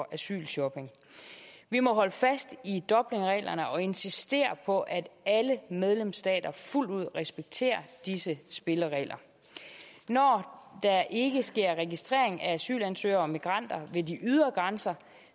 asylshopping vi må holde fast i dublinreglerne og insistere på at alle medlemsstater fuldt ud respekterer disse spilleregler når der ikke sker registrering af asylansøgere og migranter ved de ydre grænser